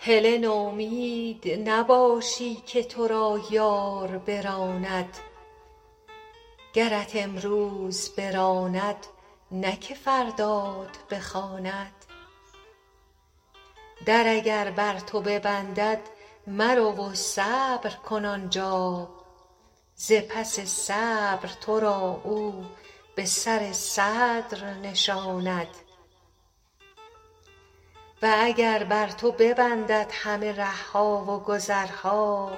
هله نومید نباشی که تو را یار براند گرت امروز براند نه که فردات بخواند در اگر بر تو ببندد مرو و صبر کن آن جا ز پس صبر تو را او به سر صدر نشاند و اگر بر تو ببندد همه ره ها و گذرها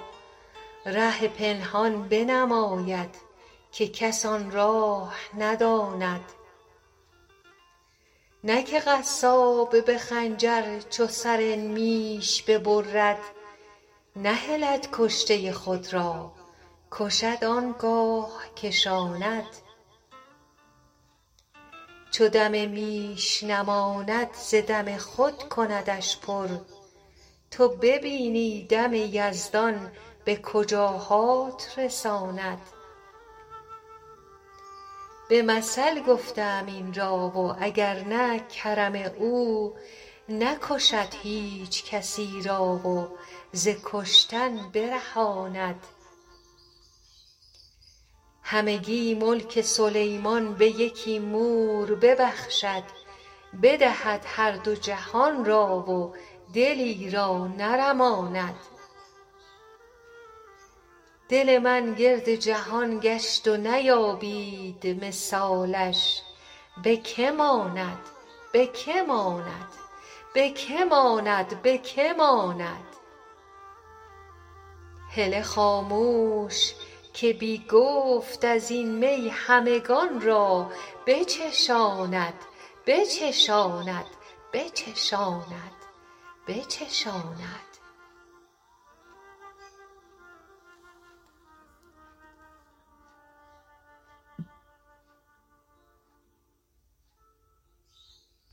ره پنهان بنماید که کس آن راه نداند نه که قصاب به خنجر چو سر میش ببرد نهلد کشته خود را کشد آن گاه کشاند چو دم میش نماند ز دم خود کندش پر تو ببینی دم یزدان به کجاهات رساند به مثل گفته ام این را و اگر نه کرم او نکشد هیچ کسی را و ز کشتن برهاند همگی ملک سلیمان به یکی مور ببخشد بدهد هر دو جهان را و دلی را نرماند دل من گرد جهان گشت و نیابید مثالش به که ماند به که ماند به که ماند به که ماند هله خاموش که بی گفت از این می همگان را بچشاند بچشاند بچشاند بچشاند